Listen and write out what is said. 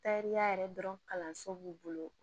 Tariya yɛrɛ dɔrɔn kalanso b'u bolo